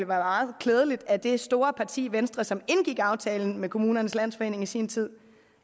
meget klædeligt at det store parti venstre som indgik aftalen med kommunernes landsforening i sin tid